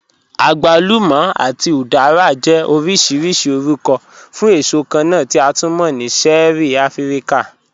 Àgwàlùmà àti udara jẹ́ ọ̀rọ̀ṣìrìṣì ọ̀rùkọ̀ fún èṣò kànna tí a tú mọ̀ ni ṣẹ̀ẹ̀rí Àfíríkà